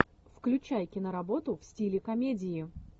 включай киноработу в стиле комедии